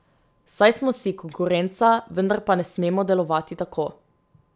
Saj smo si konkurenca, vendar pa ne smemo delovati tako.